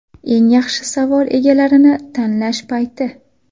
Eng yaxshi savol egalarini tanlash payti.